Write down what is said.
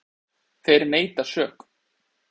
Þeir neita sök.